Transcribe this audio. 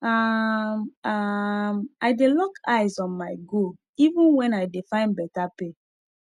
um um i dey lock eyes on my goal even when i dey find better pay